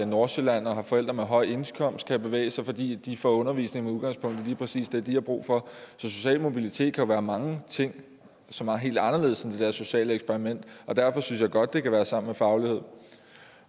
nordsjælland og har forældre med høj indkomst kan bevæge sig fordi de får undervisning med udgangspunkt i lige præcis det de har brug for så social mobilitet kan jo være mange ting som er helt anderledes end det der sociale eksperiment og derfor synes jeg godt det kan være sammen med faglighed